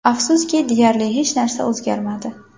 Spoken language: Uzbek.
Afsuski, deyarli hech narsa o‘zgarmadi.